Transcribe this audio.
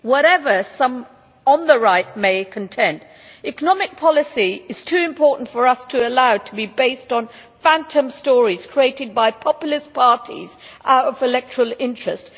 Whatever some on the Right may contend, economic policy is too important for us to allow it to be based on phantom stories created by populist parties out of electoral interest.